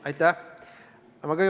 Aitäh!